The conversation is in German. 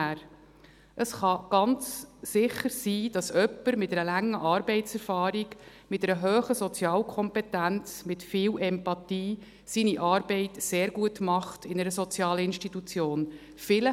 Es kann ganz sicher sein, dass jemand mit einer langen Arbeitserfahrung, mit einer hohen Sozialkompetenz, mit viel Empathie, seine Arbeit in einer sozialen Institution sehr gut macht.